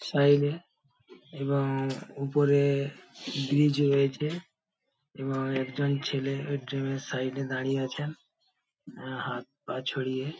Side এ এবং উপরে ব্রিজ রয়েছে এবং একজন ছেলে ওই জিম এর সাইড এ দাঁড়িয়ে আছেন হাত পা ছড়িয়ে।